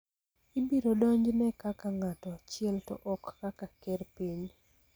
ibiro donjne kaka ng�ato achiel to ok kaka ker piny.